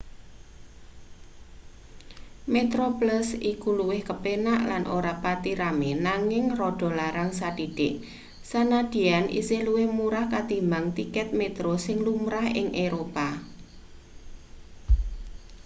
metroplus iku luwih kepenak lan ora pati rame nanging rada larang sathithik sandyan isih luwih murah katimbang tiket metro sing lumrah ing eropa